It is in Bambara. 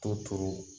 To